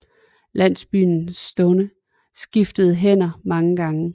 Landsbyen Stonne skiftede hænder mange gange